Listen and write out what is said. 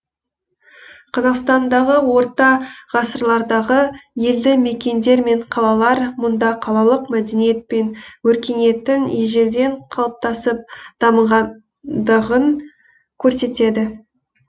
қазақстандағы орта ғасырлардағы елді мекендер мен қалалар мұнда қалалық мәдениет пен өркениеттің ежелден қалыптасып дамығандығын көрсетеді